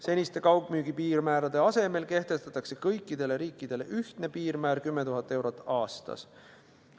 Seniste kaugmüügi piirmäärade asemel kehtestatakse kõikidele riikidele ühtne piirmäär 10 000 eurot aastas.